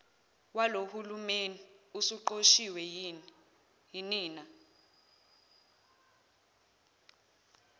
walohulumeni usuqoshiwe yinina